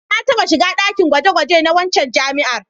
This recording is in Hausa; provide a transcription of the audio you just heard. Na taɓa shiga ɗakin gwaje-gwaje na waccan jami'ar.